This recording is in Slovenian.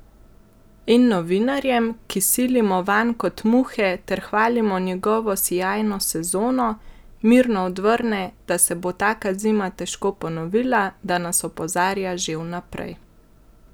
In novinarjem, ki silimo vanj kot muhe ter hvalimo njegovo sijajno sezono, mirno odvrne, da se bo taka zima težko ponovila, da nas opozarja že vnaprej!